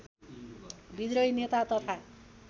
विद्रोही नेता तथा